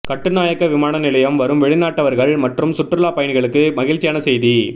கட்டுநாயக்க விமானநிலையம் வரும் வெளிநாட்டவர்கள் மற்றும் சுற்றுலாப்பயணிகளுக்கு மகிழ்ச்சியான செய்தி